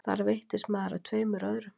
Þar veittist maður að tveimur öðrum